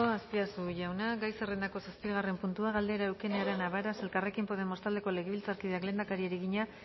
azpiazu jauna gai zerrendako zazpigarren puntua galdera eukene arana varas elkarrekin podemos taldeko legebiltzarkideak lehendakariari egina